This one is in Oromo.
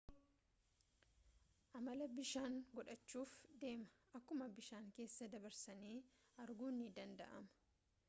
amala bishaanii godhachuuf deema akkuma bishaanii keessa dabarsanii arguun ni danda'ama